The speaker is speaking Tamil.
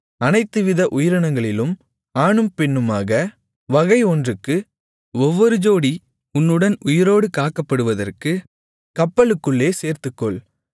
அனைத்துவித உயிரினங்களிலும் ஆணும் பெண்ணுமாக வகை ஒன்றுக்கு ஒவ்வொரு ஜோடி உன்னுடன் உயிரோடு காக்கப்படுவதற்கு கப்பலுக்குள்ளே சேர்த்துக்கொள்